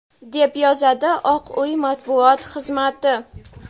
deb yozadi Oq uy matbuot xizmati.